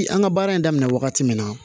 An ka baara in daminɛ wagati min na